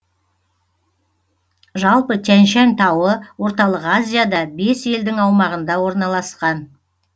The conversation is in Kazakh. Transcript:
жалпы тянь шань тауы орталық азияда бес елдің аумағында орналасқан